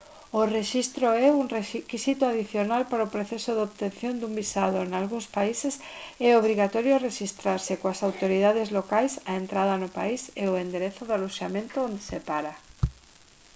o rexistro é un requisito adicional para o proceso de obtención dun visado nalgúns países é obrigatorio rexistrarse coas autoridades locais a entrada no país e o enderezo do aloxamento onde se para